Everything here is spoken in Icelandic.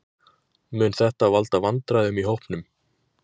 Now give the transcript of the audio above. Mun þetta valda vandræðum í hópnum?